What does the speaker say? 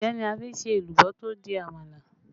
Ẹ̀gẹ́ náà ni a fi n se èlùbọ́ tó di àmàlà